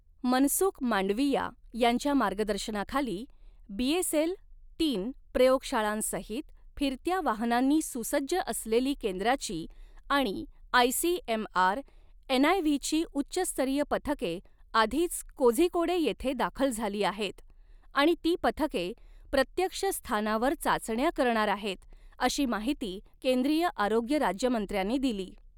मनसुख मांडविया यांच्या मार्गदर्शनाखाली बीएसएल तीन प्रयोगशाळांसहित फिरत्या वाहनांनी सुसज्ज असलेली केंद्राची आणि आयसीएमआर एनआयव्हीची उच्च स्तरीय पथके आधीच कोझीकोडे येथे दाखल झाली आहेत आणि ती पथके प्रत्यक्ष स्थानावर चाचण्या करणार आहेत, अशी माहिती केंद्रीय आऱोग्य राज्यमंत्र्यांनी दिली.